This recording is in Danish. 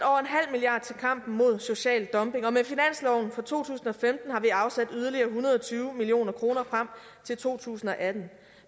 milliard til kampen mod social dumping og med finansloven for to tusind og femten har vi afsat yderligere en hundrede og tyve million kroner frem til to tusind og atten